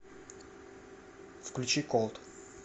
включи колд